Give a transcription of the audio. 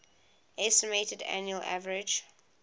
estimated annual average